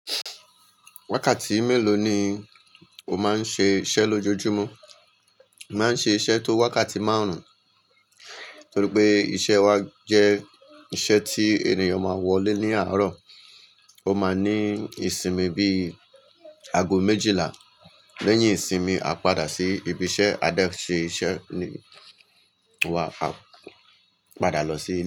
Wákàtí mélòó ni o máa ń ṣe iṣẹ́ lójoojúmọ́? Màá ń ṣe iṣẹ́ tó wákàtí márùn-ún, nítorí pé iṣẹ́ wa jẹ́ iṣẹ́ tí ènìyàn máa wọlé ní àárọ̀. Ó máa ní ìsinmi bí i ago méjìlá. Lẹ́yìn ìsinmi, a padà sí ibi iṣẹ́. A dẹ̀ ṣe iṣẹ́ ni wa á padà lọ sí ilé.